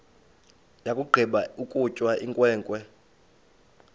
yakugqiba ukutya inkwenkwe